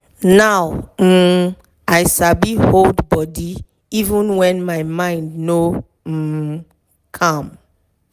step by step waka dey make me feel cool and relax.